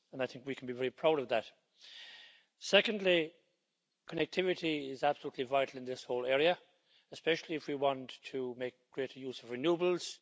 I think we can be very proud of that. Secondly, connectivity is absolutely vital in this whole area, especially if we want to make greater use of renewables.